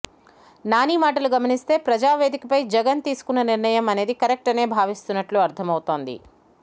నాని మాటలు గమనిస్తే ప్రజా వేదికపై జగన్ తీసుకున్న నిర్ణయం అనేది కరెక్ట్ అనే భావిస్తున్నట్లు అర్ధం అవుతుంది